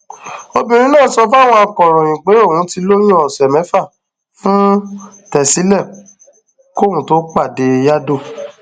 obìnrin náà sọ fáwọn akọròyìn pé òun ti lóyún ọsẹ mẹfà fún tẹsílẹ kóun tóó pàdé yadow